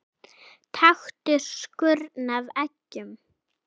Taktu skurn af eggjum.